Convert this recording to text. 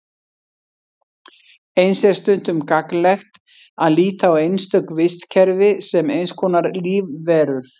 Eins er stundum gagnlegt að líta á einstök vistkerfi sem eins konar lífverur.